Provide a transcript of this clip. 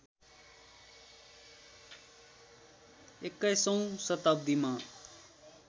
२१ औँ शताब्दीमा